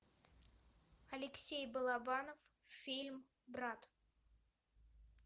алексей балабанов фильм брат